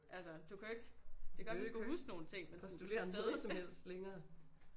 Altså du kan jo ikke det kan godt være du kan huske nogle ting men sådan du skal stadig